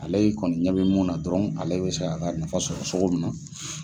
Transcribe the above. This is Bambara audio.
Ale kɔni ɲɛ bɛ mun na dɔrɔn ale bɛ se k'a ka nafa sɔrɔ sogo min na.